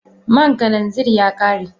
man kananzir ya kare.